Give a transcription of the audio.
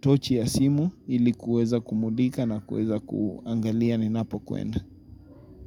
tochi ya simu ili kuweza kumulika na kuweza kuangalia ni napokwenda.